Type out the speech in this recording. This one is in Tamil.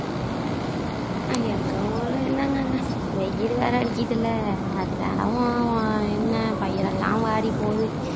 எங்க ஊர்ல என்னங்க வெயில் வேற அடிக்குதுல்ல அதுனால என்ன பயிரெல்லாம் வாடி போயி